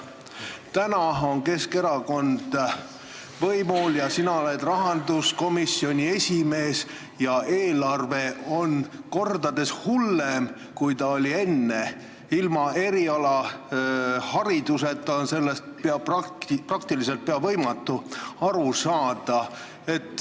Praegu on Keskerakond võimul, sina oled rahanduskomisjoni esimees ja eelarve on kordades hullem, kui ta enne oli: ilma erialahariduseta on sellest praktiliselt võimatu aru saada.